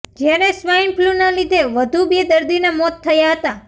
જ્યારે સ્વાઇન ફ્લૂના લીધે વધુ બે દર્દીના મોત થયા હતા